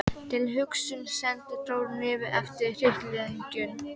Tilhugsunin sendi hroll niður eftir hrygglengjunni.